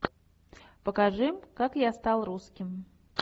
покажи как я стал русским